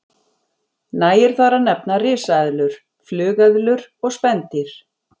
Nægir þar að nefna risaeðlur, flugeðlur og spendýr.